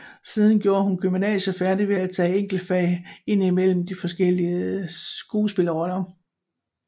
Siden gjorde hun gymnasiet færdig ved at tage enkeltfag indimellem de forskellige skuespillerroller